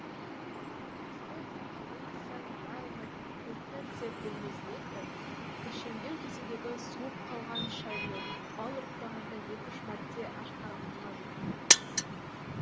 үргенішбай ақсақалдың кісі айнала алмайтын қуықтай күзет бөлмесіне кіріп кіршеңдеу кеседегі суып қалған шайды бал ұрттағандай екі үш мәрте ашқарақтана жұтты